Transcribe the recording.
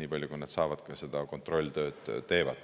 nii palju, kui nad saavad.